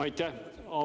Aitäh!